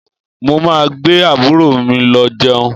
Mo máa gbé àbúrò mi lọ jẹun